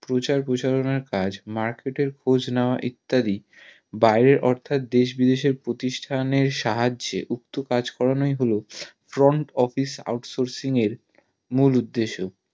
প্রচার প্রয়োচারণার কাজ market এর খোঁজ নেওয়া ইত্যাদি বাইরে অর্থাদ দেশ বিদেশে প্রতিষ্ঠানের সাহায্যে কাজ করানোই হলো Front Office out sourcing এর মূল উদ্দেশ